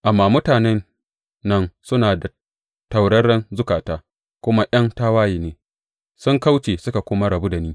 Amma mutanen nan suna da tauraren zukata, kuma ’yan tawaye ne; sun kauce suka kuma rabu da ni.